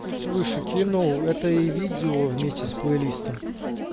чуть выше кинул это и видео вместе с плейлистом